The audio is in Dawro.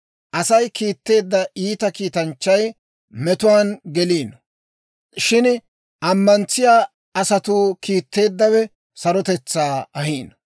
Asay kiitteedda iita kiitanchchay, metuwaan geliino; shin ammantsiyaa asatuu kiitteeddawe, sarotetsaa ahiino.